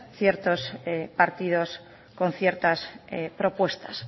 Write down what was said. ciertos partidos con ciertas propuestas